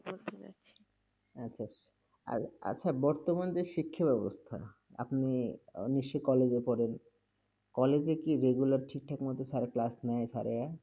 আচ্ছা, আর আচ্ছা বর্তমান যে শিক্ষাব্যবস্থা, আপনি আহ নিশ্চয়ই college -এ পড়েন, college -এ কি regular ঠিকঠাক মতো Sir class নেয়, Sir -এরা?